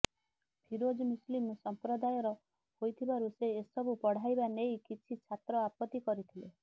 ଫିରୋଜ ମୁସଲିମ୍ ସମ୍ପ୍ରଦାୟର ହୋଇଥିବାରୁ ସେ ଏସବୁ ପଢ଼ାଇବା ନେଇ କିଛି ଛାତ୍ର ଆପତ୍ତି କରିଥିଲେ